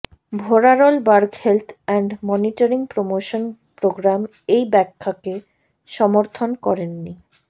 ভোরারল বার্গ health and monitoring promotion program এই ব্যাখ্যাকে সমর্থন করেননি